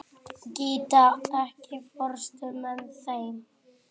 Gíta, ekki fórstu með þeim?